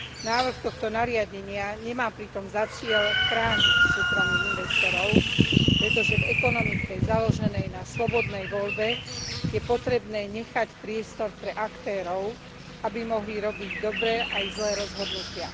Návrh tohto nariadenia nemá pritom za cieľ chrániť súkromných investorov, pretože v ekonomike založenej na slobodnej voľbe je potrebné nechať priestor pre aktérov, aby mohli robiť dobré aj zlé rozhodnutia.